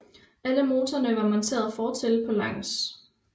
Alle motorerne var monteret fortil på langs